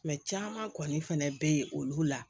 caman kɔni fɛnɛ be yen olu la